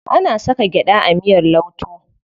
Ana saka gyaɗa a miyar lauto.